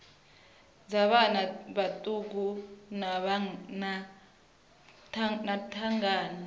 dza vhana vhaṱuku vha thangana